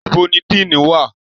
Ibo ni dean wà?